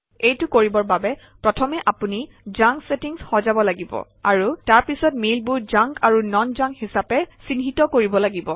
এইটো কৰিবৰ বাবে প্ৰথমে আপুনি জাংক চেটিংচ সজাব লাগিব আৰু তাৰপিছত মেইলবোৰ জাংক আৰু নন জাংক হিচাপে চিহ্নিত কৰিব লাগিব